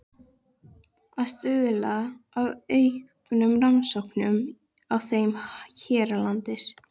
Að stuðla að auknum rannsóknum á þeim hérlendis.